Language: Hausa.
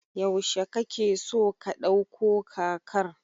Yaushe kake so ka ɗauko kakar?